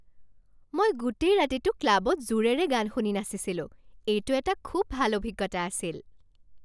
মই গোটেই ৰাতিটো ক্লাবত জোৰেৰে গান শুনি নাচিছিলোঁ। এইটো এটা খুব ভাল অভিজ্ঞতা আছিল।